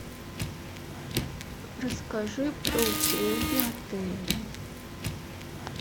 расскажи про услуги отеля